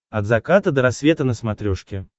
от заката до рассвета на смотрешке